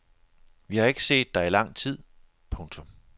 Vi har ikke set dig i lang tid. punktum